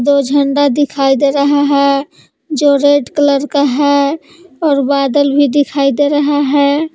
दो झंडा दिखाई दे रहा है जो रेड कलर का है और बादल भी दिखाई दे रहा है।